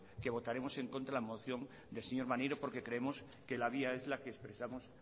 que votaremos en contra de la moción del señor maneiro porque creemos que la vía es la que expresamos